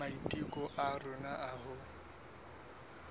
maiteko a rona a ho